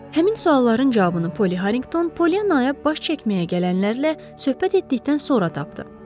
Həmin sualların cavabını Poly Harinqton Polyanaya baş çəkməyə gələnlərlə söhbət etdikdən sonra tapdı.